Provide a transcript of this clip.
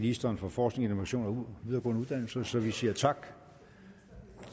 ministeren for forskning innovation og videregående uddannelser så vi siger tak